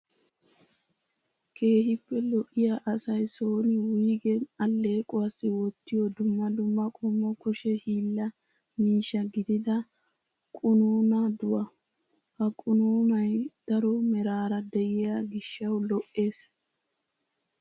Keehippe lo'iyaa asayi son wuyigen alleequwaassi wottiyoo dumma dumma qommo kushe hiilaa miishsha gidida qunuunaaduwaa. Ha qunuunayi daro meraara diyo gishshaw lo''es.